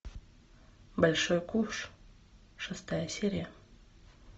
большой куш шестая серия